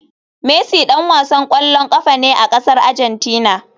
Messi dan wasan kwallon kafa ne a kasar Argentina.